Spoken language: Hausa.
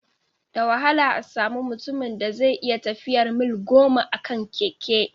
Da wahala a samu mutumin da zai iya tafiyar mil goma a kan keke